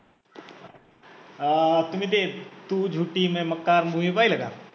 अं तुम्ही ते तु झूठी मै मक्कार movie पहिलं का